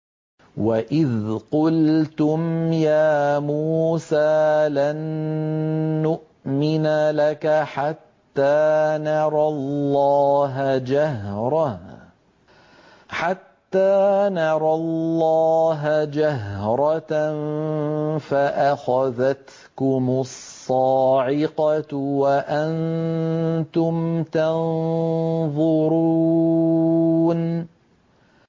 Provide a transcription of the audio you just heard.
وَإِذْ قُلْتُمْ يَا مُوسَىٰ لَن نُّؤْمِنَ لَكَ حَتَّىٰ نَرَى اللَّهَ جَهْرَةً فَأَخَذَتْكُمُ الصَّاعِقَةُ وَأَنتُمْ تَنظُرُونَ